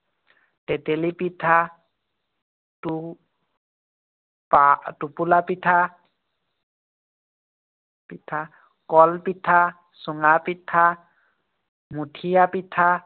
তেতেলী পিঠা, টো টোপোলা পিঠা, পিঠা, কল পিঠা, চুঙা পিঠা, মথিয়া পিঠা,